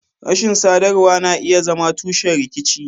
Rashin sadarwa na iya zama tushen rikici.